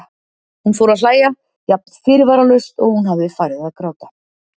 Hún fór að hlæja, jafn fyrirvaralaust og hún hafði farið að gráta.